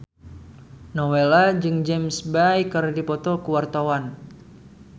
Nowela jeung James Bay keur dipoto ku wartawan